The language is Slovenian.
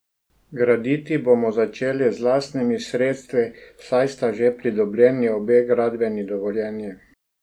Graditi bomo začeli z lastnimi sredstvi, saj sta že pridobljeni obe gradbeni dovoljenji.